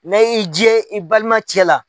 Ne y'i jɛ i balima cɛ la.